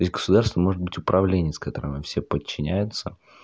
и государство может быть управление с которыми все подчиняются